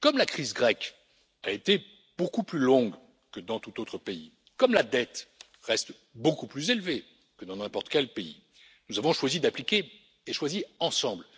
Comme la crise grecque a été beaucoup plus longue que dans tout autre pays, comme la dette reste beaucoup plus élevée que dans n'importe quel pays, nous avons choisi ensemble d'appliquer